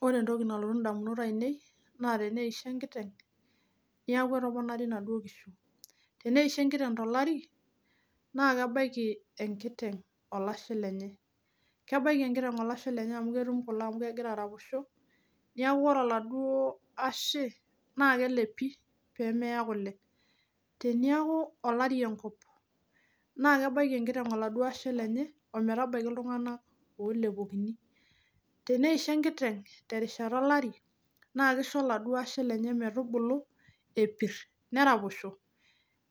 Wore entoki nalotu indamunot aiinei naa teneisho enkiteng, neeku etoponari inaduo kishu, teneisho enkiteng tolari, naa kebaiki enkiteng olashe lenye, kebaiki enkiteng olashe lenye amu ketum kule amu kekira araposho. Neeku wore oladuo ashe, naa kelepi pee meya kule. Teniaku olari enkop, naa kebaiki enkiteng oladuo ashe lenye, ometabaiki iltunganak oolepokini. Teneisho enkiteng terishata olari, naa kisho oladuo ashe lenye metubulu epirr, neraposho,